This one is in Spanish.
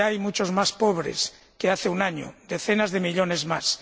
Hoy, hay muchos más pobres que hace un año, decenas de millones más.